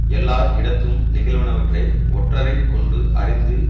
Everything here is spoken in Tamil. எல்லார் இடத்தும் நிகழ்வனவற்றை ஒற்றரை கொண்டு அறிந்து